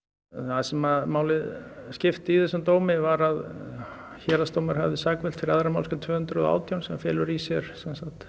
það sem máli skipti í þessum dómi var að héraðsdómur hafði sakfellt fyrir annarri málsgrein tvö hundruð og átján sem felur í sér